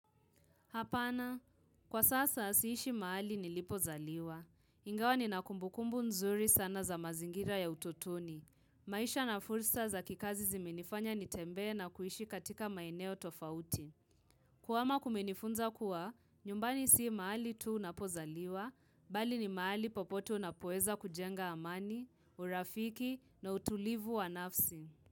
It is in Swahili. Hapana, kwa sasa siishi mahali nilipozaliwa. Ingawa nina kumbukumbu nzuri sana za mazingira ya utotoni. Maisha na fulsa za kikazi zimenifanya nitembee na kuishi katika maeneo tofauti. Kuhama kumenifunza kuwa, nyumbani si mahali tu unapozaliwa, bali ni mahali popote unapoeza kujenga amani, urafiki na utulivu wa nafsi.